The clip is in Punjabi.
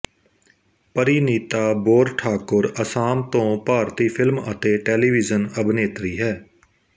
ਪਰੀਨੀਤਾ ਬੋਰਠਾਕੁਰ ਅਸਾਮ ਤੋਂ ਭਾਰਤੀ ਫ਼ਿਲਮ ਅਤੇ ਟੈਲੀਵਿਜ਼ਨ ਅਭਿਨੇਤਰੀ ਹੈ